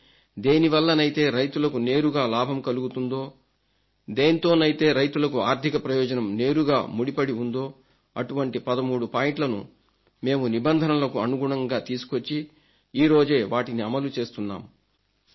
కానీ దేనివల్లనైతే రైతులకు నేరుగా లాభం కలుగుతుందో దేనితోనైతే రైతులకు ఆర్థిక ప్రయోజనం నేరుగా ముడిపడి ఉందో అటువంటి 13 పాయింట్లను మేము నిబంధనలకు అనుగుణంగా తీసుకొచ్చి ఈరోజే వాటిని అమలుచేస్తున్నాం